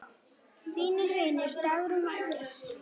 Þínir vinir, Dagrún og Eggert.